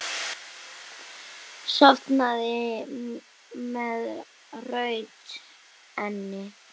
Sofnaði með rautt enni.